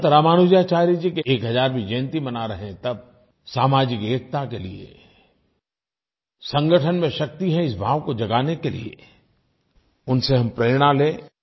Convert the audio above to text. संत रामानुजाचार्य जी की 1000वीं जयंती मना रहे हैं तब सामाजिक एकता के लिये संगठन में शक्ति है इस भाव को जगाने के लिये उनसे हम प्रेरणा लें